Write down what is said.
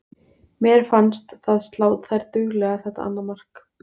Mér fannst það slá þær duglega þetta annað mark.